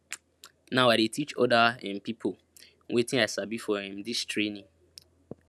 now i dey teach oda um pipo wetin i sabi for um dis training